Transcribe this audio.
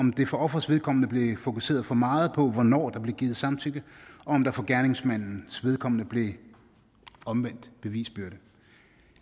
for offerets vedkommende blev fokuseret for meget på hvornår der blev givet samtykke og om der for gerningsmandens vedkommende blev omvendt bevisbyrde